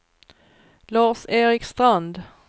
Lars-Erik Strand